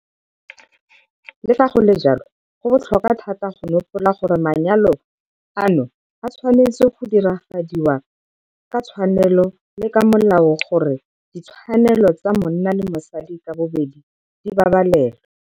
Le fa go le jalo, go botlhokwa thata go nopola gore manyalo ano a tshwanetswe go diragadiwa ka tshwanelo le ka molao, gore ditshwanelo tsa monna le mosadi ka bobedi di babalelwe.